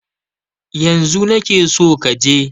Yanzu na ke so ka je!